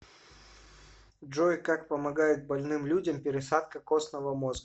джой как помогает больным людям пересадка костного мозга